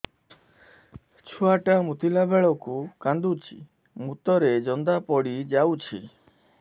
ଛୁଆ ଟା ମୁତିଲା ବେଳକୁ କାନ୍ଦୁଚି ମୁତ ରେ ଜନ୍ଦା ପଡ଼ି ଯାଉଛି